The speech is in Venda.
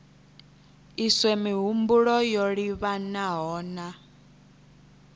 iswe mihumbulo yo livhanaho na